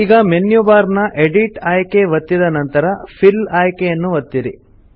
ಈಗ menu bar ನ edit ಆಯ್ಕೆ ಒತ್ತಿದ ನಂತರ ಫಿಲ್ ಆಯ್ಕೆ ಯನ್ನು ಒತ್ತಿರಿ